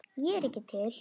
Ég er ekki til.